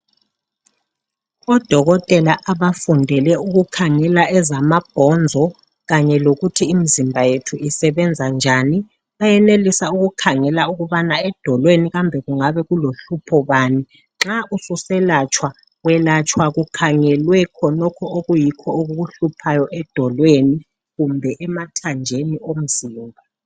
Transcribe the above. Odokotela abafundele ukukhangela ezama bhonzo, kanye lokuthi imzimba yethu isebenza njani, bayenelisa ukukhangela ukubana edolweni kambe kungabe kulo hlupho bani. Nxa ususelatshwa, welatshwa kukhangelwe khonokho okuyikho okukuhluphayo edolweni, kumbe emathanjeni omzimba.